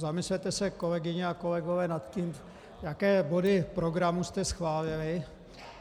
Zamyslete se, kolegyně a kolegové, nad tím, jaké body programu jste schválili.